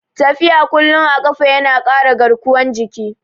Tafiya kullum a ƙafa ya na ƙara garkuwan jiki